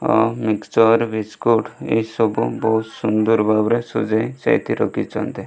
Mixture biscuit ଏସବୁ ବୋହୁତ ସୁନ୍ଦର ଭାବରେ ସଜେଇ ସାଇତି ରଖିଚନ୍ତି।